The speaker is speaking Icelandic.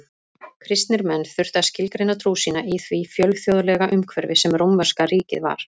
Kristnir menn þurftu að skilgreina trú sína í því fjölþjóðlega umhverfi sem rómverska ríkið var.